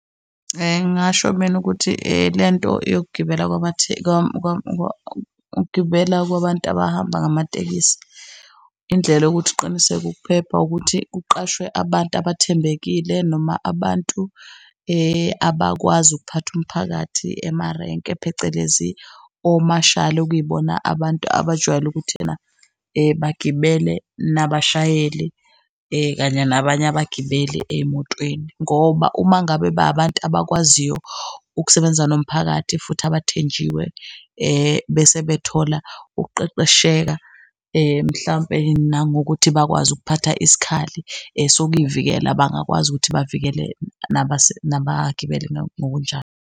Ngasho mina ukuthi lento yokugibela ukugibela kwabantu abahamba ngamatekisi, indlela yokuthi uqiniseke ukuphepha ukuthi kuqashwe abantu abathembekile noma abantu abakwazi ukuphatha umphakathi emarenke phecelezi omashali okuyibona abantu abajwayele ukuthi ena bagibele nabashayeli kanye nabanye abagibeli ey'motweni. Ngoba uma ngabe babantu abakwaziyo ukusebenza nomphakathi futhi abathenjiwe bese bethola ukuqeqesheka, mhlampe nangokuthi bakwazi ukuphatha isikhali sokuy'vikela bangakwazi ukuthi bavikele nabagibeli ngokunjalo.